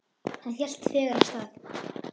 Hann hélt þegar af stað.